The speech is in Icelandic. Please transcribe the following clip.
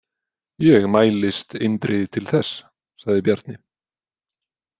Ég mælist eindregið til þess, sagði Bjarni.